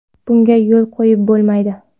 Bunga yo‘l qo‘yib bo‘lmaydi.